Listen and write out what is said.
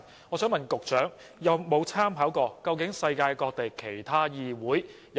我想問局長，有否參考過世界各地其他議會的做法？